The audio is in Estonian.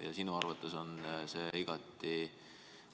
Kas sinu arvates on see igati